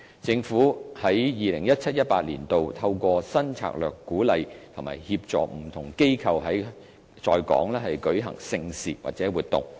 政府於 2017-2018 年度，透過新策略鼓勵及協助不同機構在港舉行盛事或活動。